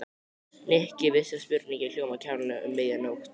Nikki vissi að spurningin hljómaði kjánalega um miðja nótt.